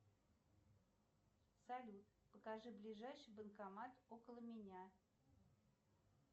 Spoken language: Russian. салют покажи ближайший банкомат около меня